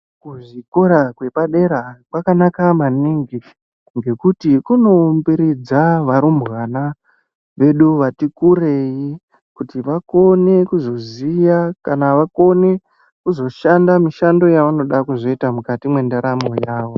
Kuzvikora kwepadera kwakanaka maningi, ngekuti kunoumbiridza varumbwana vedu vati kureyi kuti vakone kuzoziya ,kana vakone kuzoshanda mishando yavanoda kuzoyita mukati mwendaramo yavo.